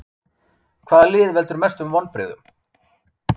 Hvaða lið veldur mestum vonbrigðum?